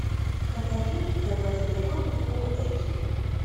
покажи заплати другому фулл эйч ди